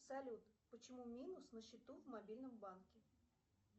салют почему минус на счету в мобильном банке